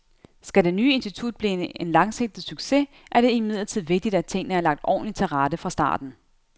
Skal det nye institut blive en langsigtet succes, er det imidlertid vigtigt, at tingene er lagt ordentligt til rette fra starten.